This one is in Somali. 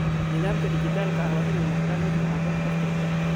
Nidaamka dhijitaalka ah waa inuu noqdaa mid ku habboon qof kasta.